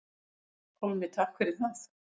Pálmi: Takk fyrir það.